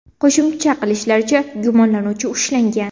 Qo‘shimcha qilishlaricha, gumonlanuvchi ushlangan.